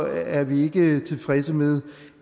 er vi ikke tilfredse med